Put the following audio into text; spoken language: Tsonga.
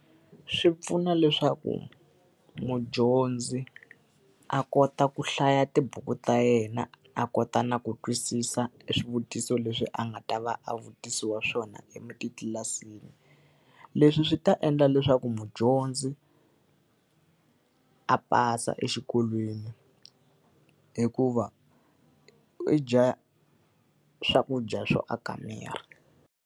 Swi pfuna leswaku mudyondzi a kota ku hlaya tibuku ta yena a kota na ku twisisa swivutiso leswi a nga ta va a vutisiwa swona etlilasini. Leswi swi ta endla leswaku mudyondzi a pasa exikolweni, hikuva i dya swakudya swo aka miri.